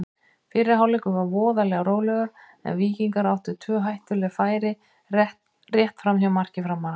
Fyrri hálfleikur var voðalega rólegur en Víkingar áttu tvö hættuleg færi rétt framhjá marki Framara.